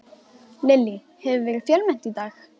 Lillý, hefur verið fjölmennt í dag?